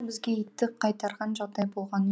бізге итті қайтарған жағдай болған